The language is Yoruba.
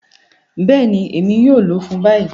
Bẹẹni, Emi yoo lọ fun bayi.